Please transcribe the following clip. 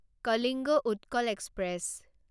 Kalinga Utkal express